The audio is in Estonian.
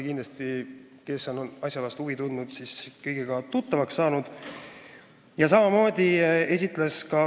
Need, kes on asja vastu huvi tundnud, on kindlasti kõige sellega tuttavaks saanud.